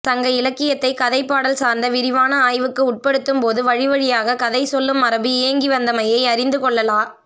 சங்க இலக்கியத்தை கதைப்பாடல் சார்ந்த விரிவான ஆய்வுக்கு உட்படுத்தும் போது வழிவழியாக கதை சொல்லும் மரபு இயங்கி வந்தமையை அறிந்துகொள்ளலா